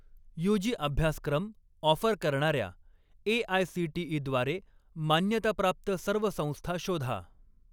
UG अभ्यासक्रम offer करणार्या AICTE. द्वारे मान्यताप्राप्त सर्व संस्था शोधा.